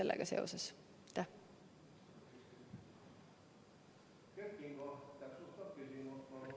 Kert Kingo, täpsustav küsimus, palun!